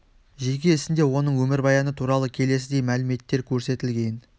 жеке ісінде оның өмірбаяны туралы келесідей мәліметтер көрсетілген